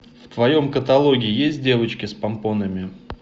в твоем каталоге есть девочки с помпонами